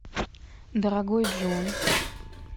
дорогой джон